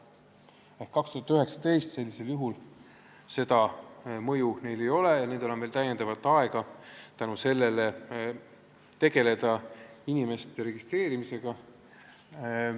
Sellisel juhul ei ole 2019. aastal omavalitsustele sellist mõju ja neil on täiendavalt aega tegeleda inimeste registreerimisega.